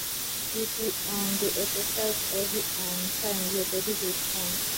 if you um dey exercise every um time your body go strong